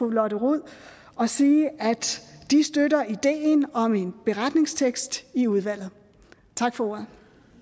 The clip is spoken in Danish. lotte rod og sige at de støtter ideen om en beretningstekst i udvalget tak for ordet